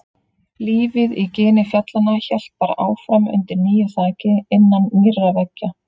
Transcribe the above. Lífið í gini fjallanna hélt bara áfram undir nýju þaki, innan nýrra veggja.